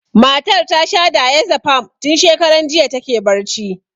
Matar ta sha diazepam, tun shakaran jiya ta ke barci.